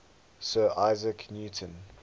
sir isaac newton